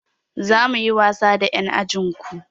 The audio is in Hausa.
Za mu yi wasa da ƴan ajin ku.